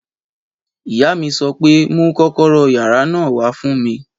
Ìyá mi sọ pé mú kọ́kọ́rọ́ yàrá náà wá fún mi!